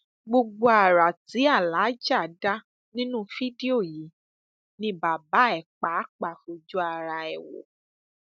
gbogbo ara tí aláàjà dá nínú fídíò yìí ni bàbá ẹ pàápàá fojú ara ẹ wò